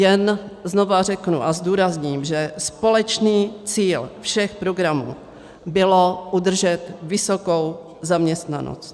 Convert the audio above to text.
Jen znovu řeknu a zdůrazním, že společný cíl všech programů bylo udržet vysokou zaměstnanost.